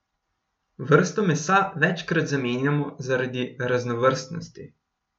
Vrsto mesa večkrat zamenjamo zaradi raznovrstnosti.